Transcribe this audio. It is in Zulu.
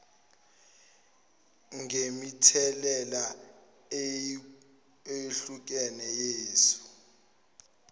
ngemithelela eyehlukene yesu